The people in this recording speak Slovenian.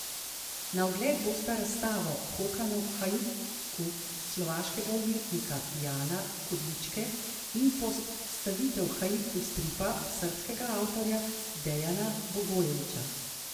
Na ogled bosta razstava Hoka No Haiku slovaškega umetnika Jana Kudličke in postavitev haiku stripa srbskega avtorja Dejana Bogojevića.